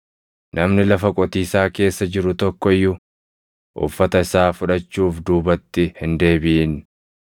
Namni lafa qotiisaa keessa jiru tokko iyyuu uffata isaa fudhachuuf duubatti hin deebiʼin.